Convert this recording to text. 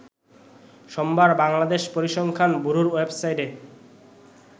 সোমবার বাংলাদেশ পরিসংখ্যান ব্যুরোর ওয়েবসাইটে